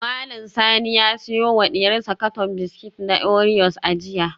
Mallam Sani ya siyo wa diyarsa katon biskit na oreos a jiya